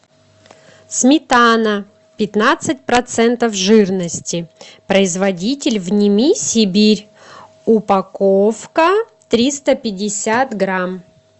сметана пятнадцать процентов жирности производитель вними сибирь упаковка триста пятьдесят грамм